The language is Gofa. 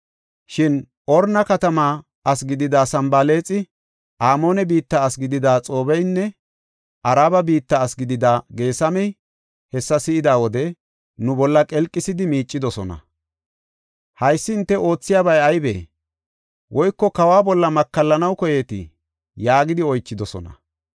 Shin Horoona katamaa asi gidida Sanbalaaxi, Amoone biitta asi gidida Xoobeynne Araba biitta asi gidida Geesamey hessa si7ida wode, nu bolla qelqisidi miicidosona. “Haysi hinte oothiyabay ayibee? Woyko kawa bolla makallanaw koyeetii?” yaagidi oychidosona.